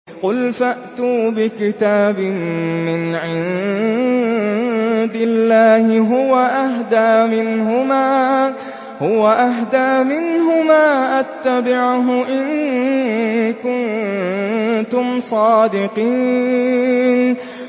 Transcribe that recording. قُلْ فَأْتُوا بِكِتَابٍ مِّنْ عِندِ اللَّهِ هُوَ أَهْدَىٰ مِنْهُمَا أَتَّبِعْهُ إِن كُنتُمْ صَادِقِينَ